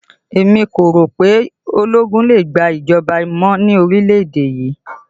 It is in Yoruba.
Èmi kò rò pé ologun lè gbà ìjọba mọ́ ní orílẹ̀ èdè yìí